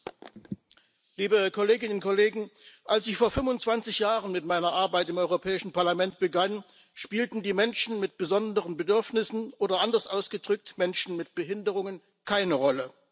Herr Präsident, liebe Kolleginnen und Kollegen! Als ich vor 25 Jahren mit meiner Arbeit im Europäischen Parlament begann, spielten die Menschen mit besonderen Bedürfnissen, oder, anders ausgedrückt, Menschen mit Behinderungen keine Rolle